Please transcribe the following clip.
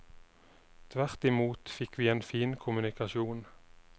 Tvert imot fikk vi en fin kommunikasjon.